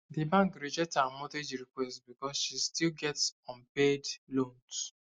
di bank reject her mortgage request because she still get unpaid loans